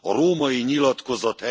A római nyilatkozat